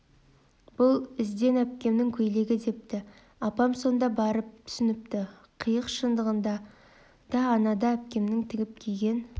бұл іздән әпкемнің көйлегі депті апам сонда барып түсініпті қиық шындығында да анада әпкемнің тігіп киген